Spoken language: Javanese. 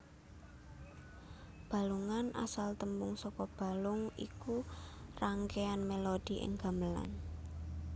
Balungan asal tembung saka balung iku rangkeyan melodi ing gamelan